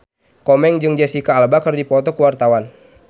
Komeng jeung Jesicca Alba keur dipoto ku wartawan